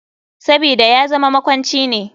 Sabida yazama makwanci ne.